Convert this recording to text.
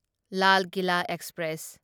Lal Kila express